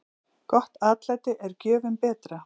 Gott atlæti er gjöfum betra.